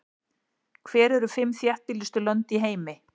Hver eru fimm þéttbýlustu lönd í heimi?